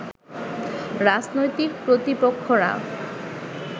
রাজনৈতিক প্রতিপক্ষরা